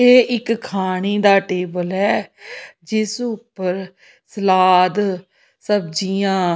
ਇਹ ਇੱਕ ਖਾਣੀ ਦਾ ਟੇਬਲ ਹੈ ਜਿਸ ਉੱਪਰ ਸਲਾਦ ਸਬਜ਼ੀਆਂ --